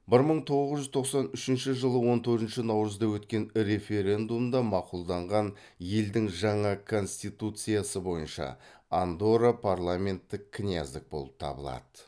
бір мың тоғыз жүз тоқсан үшінші жылы он төртінші наурызда өткен референдумда мақұлданған елдің жаңа конституциясы бойынша андорра парламенттік княздік болып табылады